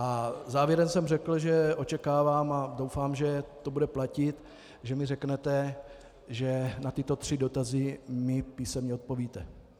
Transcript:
A závěrem jsem řekl, že očekávám a doufám, že to bude platit, že mi řeknete, že na tyto tři dotazy mi písemně odpovíte.